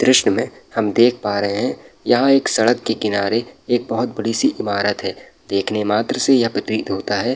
दृशं में हम देख पा रहे हैं। यहाँ एक सड़क के किनारे एक बहुत बड़ी सी इमारत है। देखने मात्र से यह प्रतीत होता है।